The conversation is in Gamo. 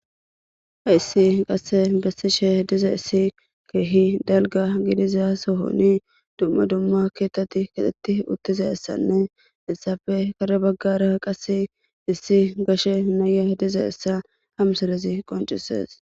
Ha issi qasse bessi she diza issi keehi dalga gidiza sohoni dumma dumma keettatti kaxetti uttiza issanne ilsaafe kare baggara qas issi gashe naye diza issa hamsarezi qoncisees.